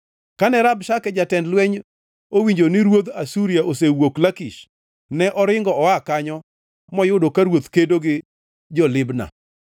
Kane Rabshake jatend lweny owinjo ni ruodh Asuria osewuok Lakish, ne oringo oa kanyo moyudo ka ruoth kedo gi jo-Libna.